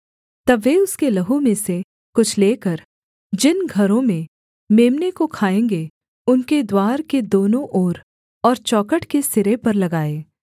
तब वे उसके लहू में से कुछ लेकर जिन घरों में मेम्ने को खाएँगे उनके द्वार के दोनों ओर और चौखट के सिरे पर लगाएँ